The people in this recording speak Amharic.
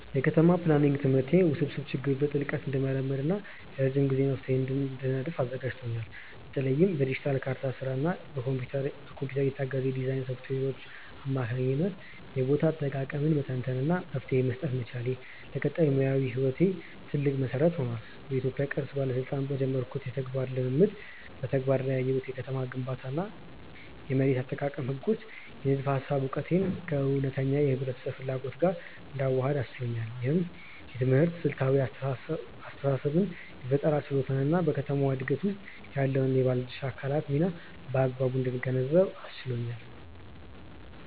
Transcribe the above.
የከተማ ፕላኒንግ ትምህርቴ ውስብስብ ችግሮችን በጥልቀት እንድመረምር እና የረጅም ጊዜ መፍትሄዎችን እንድነድፍ አዘጋጅቶኛል። በተለይም በዲጂታል ካርታ ስራ እና በኮምፒውተር የታገዘ የዲዛይን ሶፍትዌሮች አማካኝነት የቦታ አጠቃቀምን መተንተን እና መፍትሄ መስጠት መቻሌ፣ ለቀጣይ ሙያዊ ህይወቴ ትልቅ መሰረት ሆኗል። በኢትዮጵያ ቅርስ ባለስልጣን በጀመርኩት የተግባር ልምምድ በተግባር ላይ ያየሁት የከተማ ግንባታ እና የመሬት አጠቃቀም ህጎች የንድፈ ሃሳብ እውቀቴን ከእውነተኛ የህብረተሰብ ፍላጎት ጋር እንዳዋህድ አስችሎኛል። ይህ ትምህርት ስልታዊ አስተሳሰብን የፈጠራ ችሎታን እና በከተማ ዕድገት ውስጥ ያለውን የባለድርሻ አካላት ሚና በአግባቡ እንድገነዘብ አስችሎኛል።